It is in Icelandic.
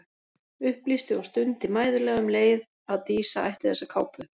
Upplýsti og stundi mæðulega um leið að Dísa ætti þessa kápu.